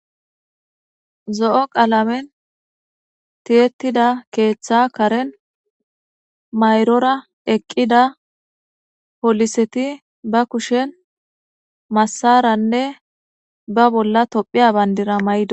zo'o qalamen tiyetida keeththa karen mayrora eqqida poliseti ba kushen massaranne ba bolla tophiya bayndira mayidosona